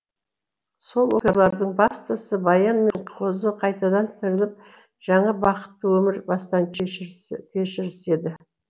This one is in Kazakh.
сол оқиғалардың бастысы баян мен қозы қайтадан тіріліп жаңа бақытты өмір бастан кешіріседі